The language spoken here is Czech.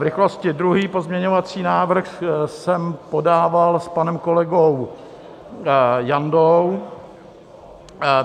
V rychlosti, druhý pozměňovací návrh jsem podával s panem kolegou Jandou.